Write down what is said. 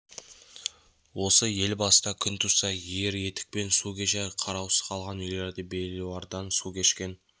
осы ел басына күн туса ер етікпен су кешер қараусыз қалған үйлерді белуардан су кешкен